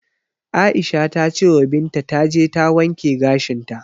Aisha ta cewa Binta taje ta wanke gashinta.